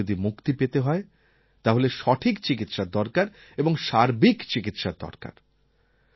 যক্ষ্মা থেকে যদি মুক্তি পেতে হয় তাহলে সঠিক চিকিৎসার দরকার এবং সার্বিক চিকিৎসার দরকার